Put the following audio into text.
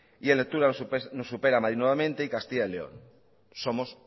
y en lectura nos supera madrid nuevamente y castilla y león somos